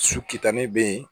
Su kitan ne bɛ yen